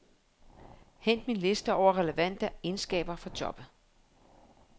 Hent min liste over relevante egenskaber for jobbet.